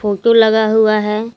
Photo लगा हुआ है।